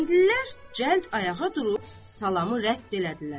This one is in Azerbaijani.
Kəndlilər cəld ayağa durub salamı rədd elədilər.